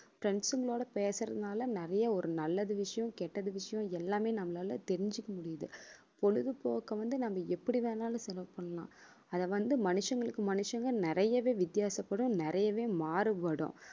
friends ங்களோட பேசறதுனால நிறைய ஒரு நல்லது விஷயம் கெட்டது விஷயம் எல்லாமே நம்மளால தெரிஞ்சுக்க முடியுது பொழுதுபோக்க வந்து நாம எப்படி வேணாலும் செலவு பண்ணலாம் அதை வந்து மனுஷங்களுக்கு மனுஷங்க நிறையவே வித்தியாசப்படும் நிறையவே மாறுபடும்